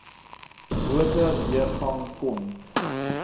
motor deurgang kon